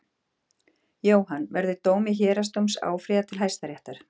Jóhann: Verður dómi héraðsdóms áfrýjað til Hæstaréttar?